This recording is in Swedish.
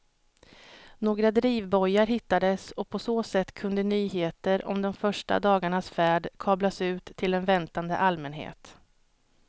Några drivbojar hittades och på så sätt kunde nyheter om de första dagarnas färd kablas ut till en väntande allmänhet.